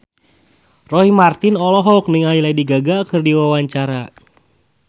Roy Marten olohok ningali Lady Gaga keur diwawancara